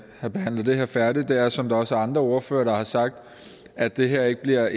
have behandlet det her færdigt er som der også er andre ordførere der har sagt at det her ikke bliver